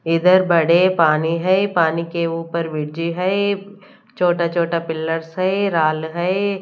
इधर बड़े पानी है पानी के ऊपर ब्रिज है छोटा छोटा पिलर्स है राल है।